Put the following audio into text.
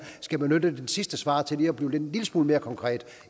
skal benytte sit sidste svar til at blive en lille smule mere konkret